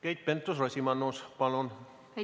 Keit Pentus-Rosimannus, palun!